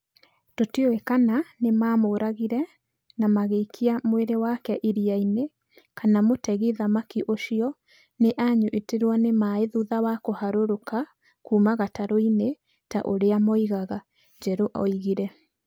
"Tũtiũĩ kana nĩ mamũragire na magĩikia mwĩrĩ wake iria-inĩ kana mũtegi thamaki ũcio nĩ anyitirũo nĩ maaĩ thutha wa kũharũrũka kuuma gatarũ-inĩ ta ũrĩa moigaga", Njeru oigire.